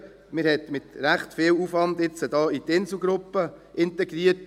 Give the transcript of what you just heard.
Man hat jetzt damit recht viel Aufwand in die Inselgruppe integriert.